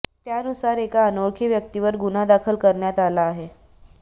त्यानुसार एका अनोखळी व्यक्तीवर गुन्हा दाखल करण्यात आला आहे